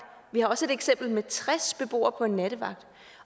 vi har også set et eksempel med tres beboere på en nattevagt